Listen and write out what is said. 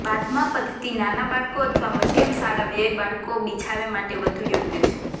બાદમાં પદ્ધતિ નાના બાળકો અથવા મધ્યમ શાળા વય બાળકો બિછાવે માટે વધુ યોગ્ય છે